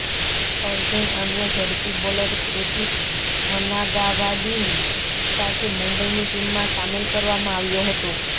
અર્જૂન અન્ય ઝડપી બોલર કૃતિક હનાગાવાડીની સાથે મુંબઇની ટીમમાં સામેલ કરવામાં આવ્યો હતો